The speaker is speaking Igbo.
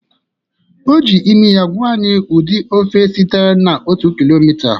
O ji imi ya gwa anyị ụdị ofe site na otu kilomita